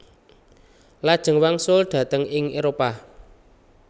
Lajeng wangsul dhateng ing Éropah